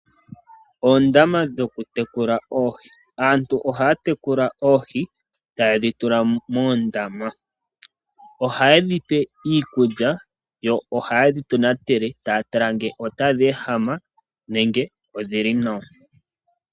Oondama dhokutekula oohi. Aantu ohaya tekula oohi taye dhi tula moondama . Ohaye dhipe iikulya yo ohaye dho tonatele taya tala ngele otadhi ehama nenge odhili nawa .